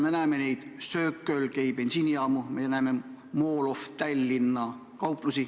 Me näeme Circle K bensiinijaamu, me näeme Mall of Tallinna kauplust.